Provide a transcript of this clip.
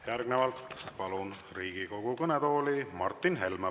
Järgnevalt palun Riigikogu kõnetooli Martin Helme.